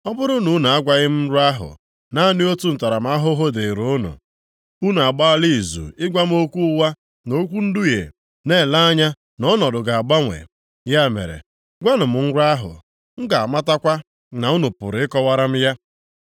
Ọ bụrụ na unu agwaghị m nrọ ahụ naanị otu ntaramahụhụ dịịrị unu. Unu agbaala izu ịgwa m okwu ụgha na okwu nduhie na-ele anya na ọnọdụ ga-agbanwe. Ya mere, gwanụ m nrọ ahụ, m ga-amatakwa na unu pụrụ ịkọwara m ya.”